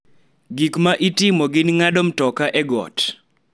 Gik ma itimo gin ng�ado mtoka e got,